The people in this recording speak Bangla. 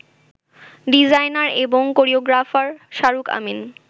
ডিজাইনার এবং কোরিওগ্রাফার শাহরুখ আমিন